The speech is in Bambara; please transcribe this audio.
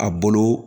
A bolo